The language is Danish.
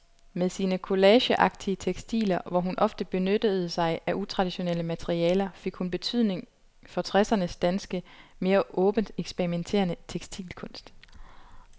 Med sine collageagtige tekstiler, hvor hun ofte benyttede sig af utraditionelle materialer, fik hun betydning for tressernes danske, mere åbent eksperimenterende tekstilkunst.